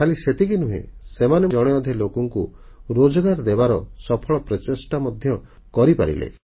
ଖାଲି ସେତିକି ନୁହେଁ ସେମାନେ ଜଣେ ଅଧେ ଲୋକଙ୍କୁ ରୋଜଗାର ଦେବାର ସଫଳ ପ୍ରଚେଷ୍ଟା ମଧ୍ୟ କରିପାରିଲେ